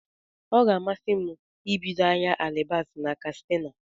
Ọ ga-amasi m ibido ahịa alibasa na Katsina.